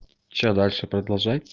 что дальше продолжать